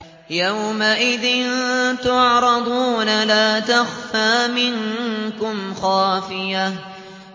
يَوْمَئِذٍ تُعْرَضُونَ لَا تَخْفَىٰ مِنكُمْ خَافِيَةٌ